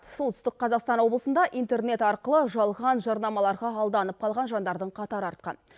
солтүстік қазақстан облысында интернет арқылы жалған жарнамаларға алданып қалған жандардың қатары артқан